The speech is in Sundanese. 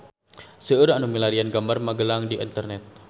Seueur nu milarian gambar Magelang di internet